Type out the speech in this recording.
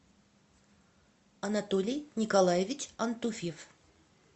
анатолий николаевич антуфьев